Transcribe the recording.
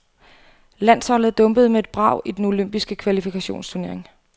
Landsholdet dumpede med et brag i den olympiske kvalifikationsturnering.